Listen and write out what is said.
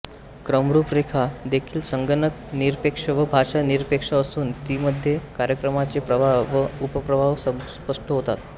क्रमरूपरेखा देखील संगणक निरपेक्ष व भाषा निरपेक्ष असून तीमध्ये कार्यक्रमाचे प्रवाह व उपप्रवाह स्पष्ट होतात